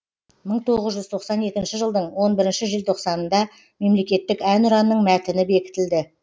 мың тоғыз жүз тоқсан екінші жылдың он бірінші желтоқсанында мемлекеттік әнұранның мәтіні бекітілді